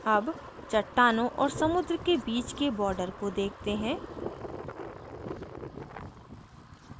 अब चट्टानों और समुद्र के बीच के border को देखते हैं